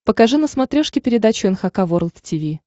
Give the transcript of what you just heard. покажи на смотрешке передачу эн эйч кей волд ти ви